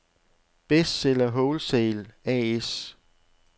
Bestseller Wholesale A/S